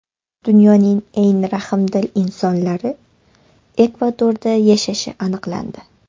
Dunyoning eng rahmdil insonlari Ekvadorda yashashi aniqlandi.